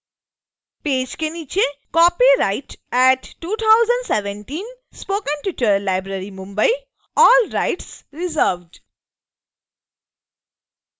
page के नीचे copyright@2017 spoken tutorial library mumbai all rights reserved